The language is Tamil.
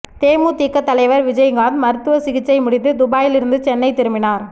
தேமுதிக தலைவர் விஜயகாந்த் மருத்துவ சிகிச்சை முடிந்து துபாயிலிருந்து சென்னை திரும்பினார்